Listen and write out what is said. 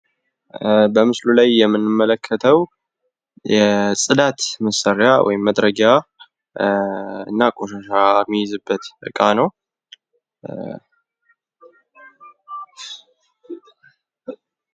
በምስሉ ላይ የምንመለከተው የጽዳት መሳሪያ ወይም መጥረጊያ እና ቆሻሻ የሚይዝበት እቃ ነው።